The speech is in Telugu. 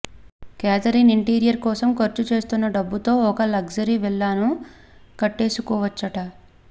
క్యాథరిన్ ఇంటీరియర్ కోసం ఖర్చు చేస్తున్న డబ్బుతో ఒక లగ్జరీ విల్లాను కట్టేసుకోవచ్చట